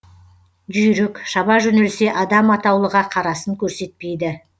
жүйрік шаба жөнелсе адам атаулыға қарасын көрсетпейді